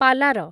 ପାଲାର